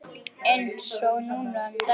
Eins og núna um daginn.